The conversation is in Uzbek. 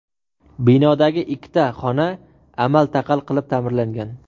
Binodagi ikkita xona amal-taqal qilib ta’mirlangan.